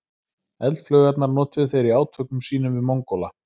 Eldflaugarnar notuðu þeir í átökum sínum við Mongóla.